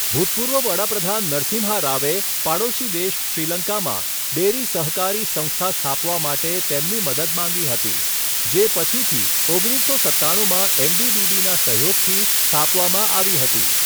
ભૂતપૂર્વ વડા પ્રધાન નરસિંહા રાવે પાડોશી દેશ શ્રીલંકામાં ડેરી સહકારી સંસ્થા સ્થાપવા માટે તેમની મદદ માંગી હતી જે પછીથી ઓગણીસસો સત્તાણું માં એનડીડીબીના સહયોગથી સ્થાપવામાં આવી હતી.